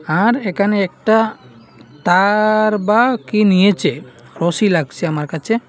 আর এখানে একটা তার বা কী নিয়েছে রশি লাগছে আমার কাছে।